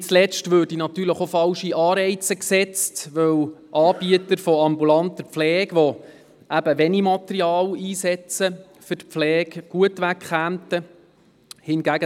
Nicht zuletzt würden damit natürlich auch falsche Anreize gesetzt, weil Anbieter ambulanter Pflege, die wenig Material für die Pflege einsetzen, gut wegkämen.